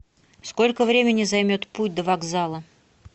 сколько времени займет путь до вокзала